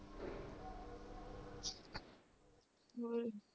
ਹੋਰ